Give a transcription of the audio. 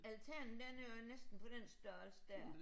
Altanen den er jo næsten på den størrelse dér